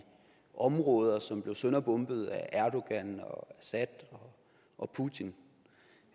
områder som blev sønderbombet af erdogan assad og putin